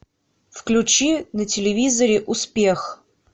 включи на телевизоре успех